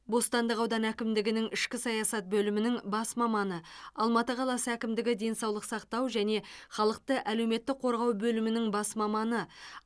бостандық ауданы әкімдігінің ішкі саясат бөлімінің бас маманы алматы қаласы әкімдігі денсаулық сақтау және халықты әлеуметтік қорғау бөлімінің бас маманы